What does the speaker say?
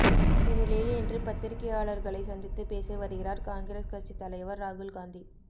இந்நிலையில் இன்று பத்திரிக்கையாளர்களை சந்தித்து பேசி வருகிறார் காங்கிரஸ் கட்சித் தலைவர் ராகுல் காந்தி